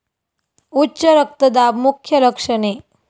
उच्च रक्तदाब मुख्य लक्षणे